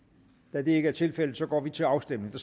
da det ikke er tilfældet går vi til afstemning